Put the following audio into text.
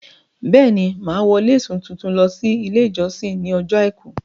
Bẹ́è ni, Màá wọ lésì tuntun lọ sí ilé ìjọsìn ní ọjọ́ àìkú